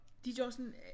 De gør sådan